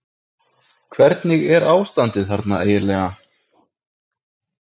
Hvernig er ástandið þarna eiginlega?